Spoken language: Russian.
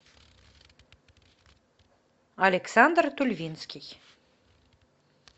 александр тульвинский